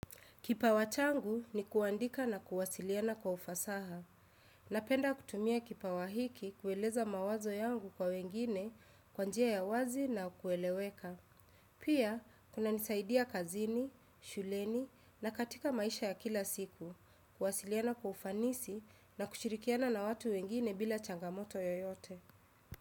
Kipawa changu ni kuandika na kuwasiliana kwa ufasaha. Napenda kutumia kipawa hiki kueleza mawazo yangu kwa wengine kwa njia ya wazi na kueleweka. Pia, kunanisaidia kazini, shuleni na katika maisha ya kila siku, kuwasiliana kwa ufanisi na kushirikiana na watu wengine bila changamoto yoyote.